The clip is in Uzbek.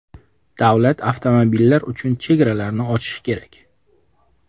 Davlat avtomobillar uchun chegaralarini ochishi kerak.